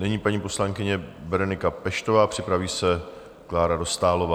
Nyní paní poslankyně Berenika Peštová, připraví se Klára Dostálová.